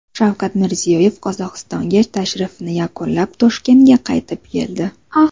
Shavkat Mirziyoyev Qozog‘istonga tashrifini yakunlab, Toshkentga qaytib keldi.